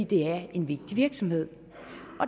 det er en vigtig virksomhed